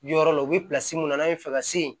Yɔrɔ la u bɛ mun na n'an bɛ fɛ ka se yen